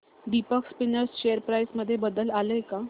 Deepak spinners share price मध्ये बदल आलाय का